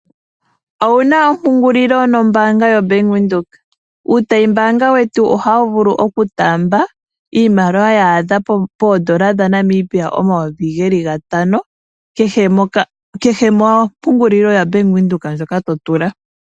Owuna ompungulilo nombaanga yoBank Windhoek? Uutayimbaanga wetu ohawu vulu oku taamba iimaliwa ya adha poondola dhaNamibia omayovi geli gatano kehe mompungulilo yaBank Windhoek ndjoka to tula.